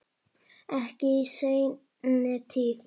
Ekki í seinni tíð.